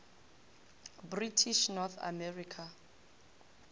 british north america